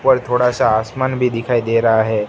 ऊपर थोड़ा सा आसमान भी दिखाई दे रहा है।